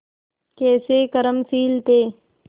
कैसे कर्मशील थे